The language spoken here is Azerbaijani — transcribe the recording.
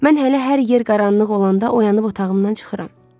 Mən hələ hər yer qaranlıq olanda oyanıb otağımdan çıxıram.